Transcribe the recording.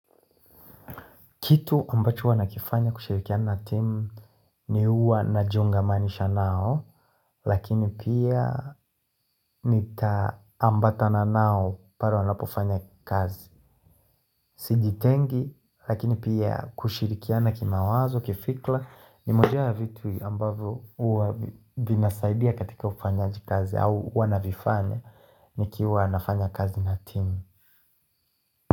Kitu ambacho wanakifanya kushirikiana timu ni huwa najiunganisha nao Lakini pia nitaambatana nao pale wanapofanya kazi Sijitengi lakini pia kushirikiana kimawazo kifikra Nimoja ya vitu ambavyo huwa vinasaidia katika ufanyaji kazi au navifanya nikiwa nafanya kazi na team.